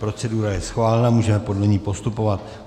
Procedura je schválena, můžeme podle ní postupovat.